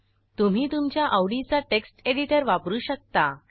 तुम्ही तुमच्या आवडीचा टेक्स्ट एडिटर वापरू शकता